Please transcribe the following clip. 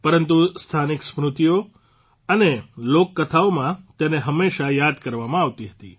પરંતુ સ્થાનિક સ્મૃતિઓ અને લોકકથાઓમાં તેને હંમેશા યાદ કરવામાં આવતી હતી